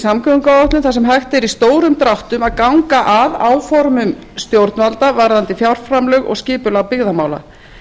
samgönguáætlun þar sem hægt verði í stórum dráttum að ganga að áformum stjórnvalda varðandi fjárframlög og skipunar byggðamála